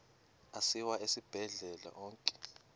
asiwa esibhedlele onke